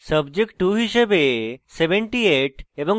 subject 2 হিসাবে 78 এবং